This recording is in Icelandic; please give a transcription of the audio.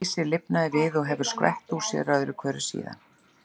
Geysir lifnaði við og hefur skvett úr sér öðru hverju síðan.